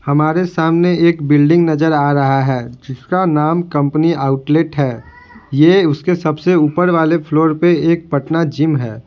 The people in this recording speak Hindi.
हमारे सामने एक बिल्डिंग नजर आ रहा है जिसका नाम कंपनी आउटलेट है यह उसके सबसे ऊपर वाले फ्लोर पे एक पटना जिम है।